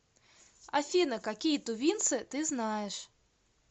афина какие тувинцы ты знаешь